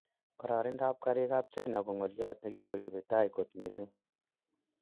Kororindap karig ap china ko ngoliot negikoripei tai kot missing.